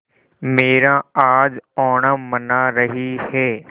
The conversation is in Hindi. मीरा आज ओणम मना रही है